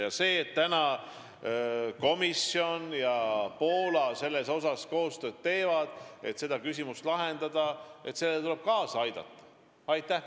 Ja sellele, et komisjon ja Poola praegu koostööd teevad, et seda küsimust lahendada, tuleb kaasa aidata.